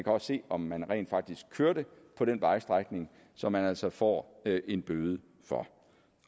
også se om man rent faktisk kørte på den vejstrækning som man altså får en bøde for